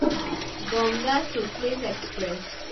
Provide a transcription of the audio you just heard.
Ganga Sutlej express